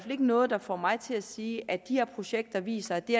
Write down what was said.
ikke noget der får mig til at sige at de her projekter viser at det